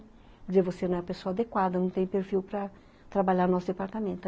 Quer dizer, você não é a pessoa adequada, não tem perfil para trabalhar no nosso departamento.